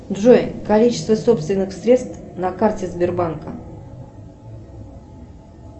джой количество собственных средств на карте сбербанка